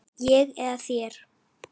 Ég eða þér?